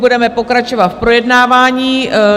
Budeme pokračovat v projednávání.